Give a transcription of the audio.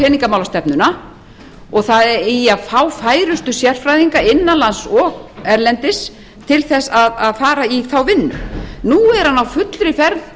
peningamálastefnuna og það eigi að fá færustu sérfræðinga innan lands og erlendis til að fara í þá vinnu nú er hann á fullri ferð